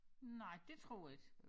Nej det tror jeg ikke